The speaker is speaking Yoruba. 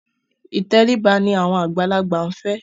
Ìtẹríba ni àwọn àgbàlagbà ń fẹ́.